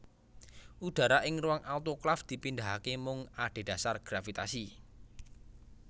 Udara ing ruang autoklaf dipindahake mung adhedhasar gravitasi